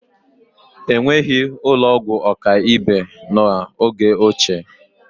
Enweghị ụlọ ọgwụ ọkaibe n'oge ochie